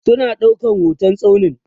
suna ɗaukan hotan tsaunin